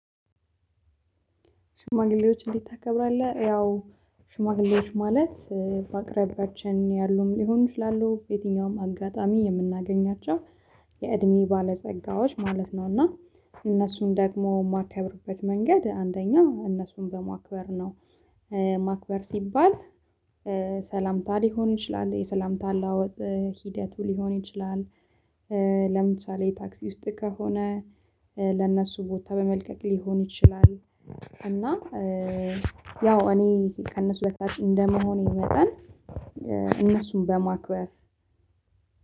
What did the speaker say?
ሽማግሌዎች እንዴት ታከብራለህ? ያው ሽማግሌዎች ማለት በአቅራቢያችን ያሉም ሊሆን ይችላሉ የትኛውም አጋጣሚ የምናገኛቸው የእድሜ ባለጸጋዎች ማለት ነው። እና እነሱን ደግሞ የማከብርበት መንገድ አንደኛው እነሱን በማክበር ነው። ማክበር ሲባል ሰላምታ ሊሆን ይችላል የሰላምታ አለዋወጥ ሂድቱ ሊሆን ይችላል። ለምሳሌ ታክሲ ውስጥ ከሆነ። ለእነሱ ቦታ በመልቀቅ ሊሆን ይችላል። እና ያው እኔ ከእነሱ በታች እንደመሆኔ መጠን እነሱን በማክበር